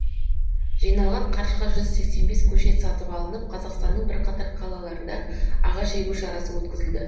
жиналған қаржыға жүз сексен бес көшет сатып алынып қазақстанның бірқатар қалаларында ағаш егу шарасы өткізілді